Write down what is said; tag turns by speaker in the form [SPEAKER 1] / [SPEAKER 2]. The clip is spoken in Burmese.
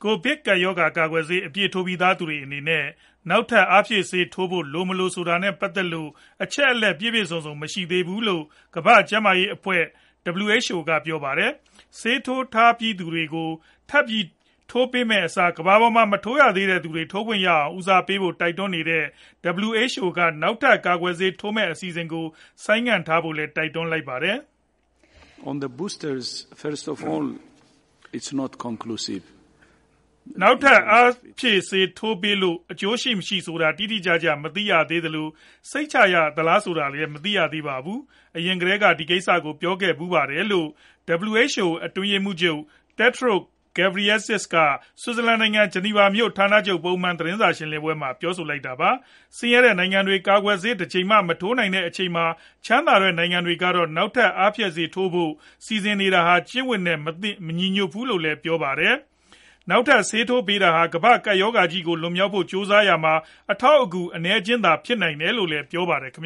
[SPEAKER 1] ိုဗစ်ရောဂါ ကာကွယ်ဆေး အပြည့်ထိုးပြီးသူတွေအတွက် နောက်ထပ် အားဖြည့်ဆေးထိုးပေးဖို့ လို၊ မလိုဆိုတာနဲ့ ပတ်သက်လို့ အချက်အလက် ပြည့်ပြည့်စုံစုံ မရှိသေးဘူးလို့ ကမ္ဘာ့ကျန်းမာရေးအဖွဲ့ (WHO) ကပြောပါတယ်။ ဆေးထိုးထားပြီးသားသူတွေကို ထပ်ထိုးပေးမယ့်အစား ကမ္ဘာပေါ်က မထိုးရသေးတဲ့သူတွေ ထိုးခွင့်ရအောင် ဦးစားပေးဖို့ တိုက်တွန်းနေတဲ့ WHO က နောက်ထပ် ကာကွယ်ဆေး ထိုးမယ့်အစီအစဉ်ကို ဆိုင်းထားဖို့လည်း တိုက်တွန်းနေတာပါ။
[SPEAKER 2] “
[SPEAKER 1] နောက်ထပ် အားဖြည့်ဆေး ထပ်ထိုးပေးလို့ အကျိုးရှိမရှိဆိုတာ တိတိကျကျ မသိရသေးသလို၊ စိတ်ချရသလား ဆိုတာလည်း မသိရသေးပါဘူး။ အရင်ကတည်းကလည်း ဒီကိစ္စကို ပြောခဲ့ဖူးပါတယ်။” လို့ WHO အတွင်းရေးမှူးချုပ် Tedros Adhanom Ghebreyesus က ဆွစ်ဇာလန်နိုင်ငံ ဂျနီဗာမြို့ ဌာနချုပ်ပုံမှန်သတင်းစာရှင်းလင်းပွဲမှာ ပြောဆိုလိုက်တာပါ။ ဆင်းရဲတဲ့နိုင်ငံတွေ ကာကွယ်ဆေးတကြိမ်မှာ မထိုးနိုင်သေးတဲ့ အချိန်မှာ ချမ်းသာတဲ့နိုင်ငံတွေကတော့ နောက်ထပ် အားဖြည့် ဆေးတွေထိုးဖို့ စီစဉ်နေတာဟာ ကျင့်ဝတ်အရ မလုပ်သင့်ဘူးလို့လည်း ပြောပါတယ်။ နောက်ထပ် ဆေးထပ်ထိုးပေးတာဟာ ကမ္ဘာ့ကပ်ရောဂါဆိုးကြီးကို လွန်မြောက်ဖို့ ကြိုးစားရမှာ အထောက်အကူ အနည်းအကျဉ်းလောက်သာ ဖြစ်နိုင်တယ်လို့လည်း ပြောပါတယ်။ ဆင်